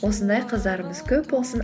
осындай қыздарымыз көп болсын